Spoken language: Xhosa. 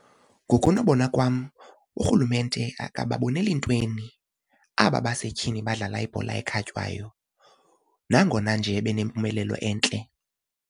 Ngokonobona kwam uRhulumente akababoneli ntweni aba basetyhini badlala ibhola ekhatywayo nangona nje benempumelelo entle.